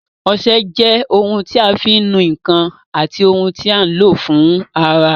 Ọsẹ jẹ́ ohun tí a fi ń nu ǹkan àti ohun tí a ń lò fún ara